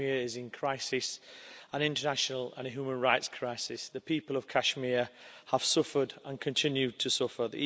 Kashmir is in crisis an international and human rights crisis. The people of Kashmir have suffered, and continue to suffer.